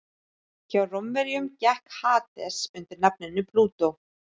Hjá Rómverjum gekk Hades undir nafninu Plútó.